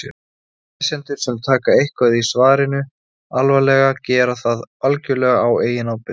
lesendur sem taka eitthvað í svarinu alvarlega gera það algjörlega á eigin ábyrgð